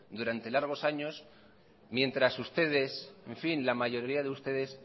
durante largos años mientras ustedes en fin la mayoría de ustedes